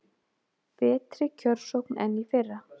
Betri kjörsókn en í fyrra